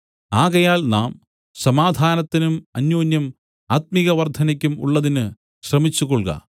ആകയാൽ നാം സമാധാനത്തിനും അന്യോന്യം ആത്മികവർദ്ധനയ്ക്കും ഉള്ളതിന് ശ്രമിച്ചുകൊൾക